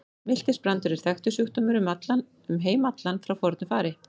Miltisbrandur er þekktur sjúkdómur um heim allan frá fornu fari.